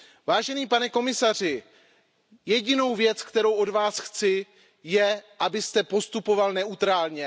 Vážený pane komisaři, jedinou věc, kterou od vás chci, je, abyste postupoval neutrálně.